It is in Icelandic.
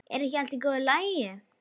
Er ekki allt í góðu lagi?